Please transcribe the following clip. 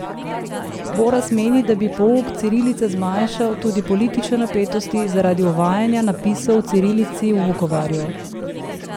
Boras meni, da bi pouk cirilice zmanjšal tudi politične napetosti zaradi uvajanja napisov v cirilici v Vukovarju.